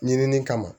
Ɲinini kama